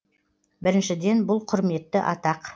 біріншіден бұл құрметті атақ